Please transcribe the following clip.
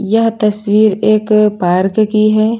यह तस्वीर एक पार्क की है।